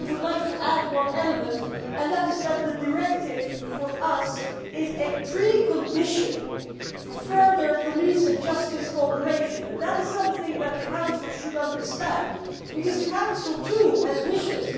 But I would like to add one element and that is that the directive for us is a precondition for further police and justice cooperation and that is something that the Council should understand because the Council too has wishes.